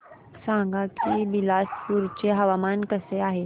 सांगा की बिलासपुर चे हवामान कसे आहे